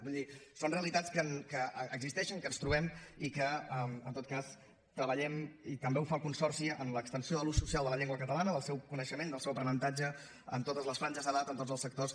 vull dir són realitats que existeixen que ens trobem i que en tot cas treballem i també ho fa el consorci en l’extensió de l’ús social de la llengua catalana del seu coneixement del seu aprenentatge en totes les franges d’edat en tots els sectors